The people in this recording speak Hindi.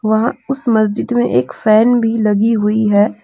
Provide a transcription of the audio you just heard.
वहां उस मस्जिद में एक फैन भी लगी हुई है।